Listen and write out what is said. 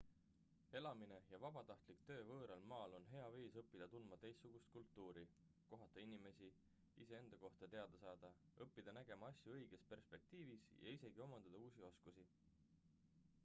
elamine ja vabatahtlik töö võõral maal on hea viis õppida tundma teistsugust kultuuri kohata inimesi iseenda kohta teada saada õppida nägema asju õiges perspektiivis ja isegi omandada uusi oskusi